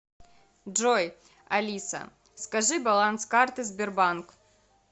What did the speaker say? джой алиса скажи баланс карты сбербанк